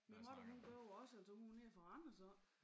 Min mutter hun gør det også altså hun er nede fra Randers af